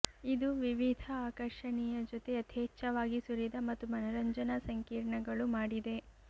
ಇದು ವಿವಿಧ ಆಕರ್ಷಣೀಯ ಜೊತೆ ಯಥೇಚ್ಛವಾಗಿ ಸುರಿದ ಮತ್ತು ಮನರಂಜನಾ ಸಂಕೀರ್ಣಗಳು ಮಾಡಿದೆ